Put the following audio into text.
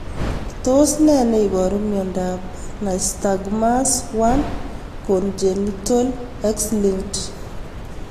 Tos nee neiparu miondop Nystagmus 1, congenital, X linked?